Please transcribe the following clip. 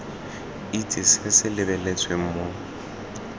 itse se se lebeletsweng mo